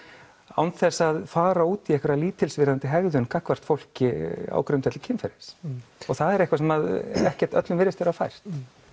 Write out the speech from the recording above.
án þess að fara út í einhverjar lítilsvirðandi hegðun gagnvart fólki á grundvelli kynferðis og það er eitthvað sem ekki öllum virðist vera fært